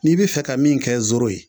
N'i bɛ fɛ kɛ min kɛ zoro ye